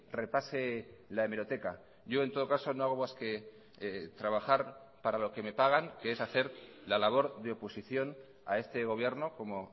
repase la hemeroteca yo en todo caso no hago más que trabajar para lo que me pagan que es hacer la labor de oposición a este gobierno como